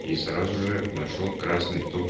и сразу же нашёл красный том